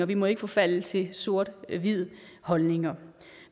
vi må ikke forfalde til sort hvide holdninger